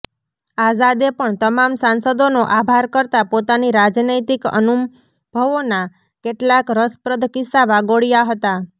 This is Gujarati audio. આઝાદે પણ તમામ સાંસદોનો આભાર કરતા પોતાની રાજનૈતિક અનુંભવોના કેટલાક રસપ્રદ કિસ્સા વાગોળ્યા હતાં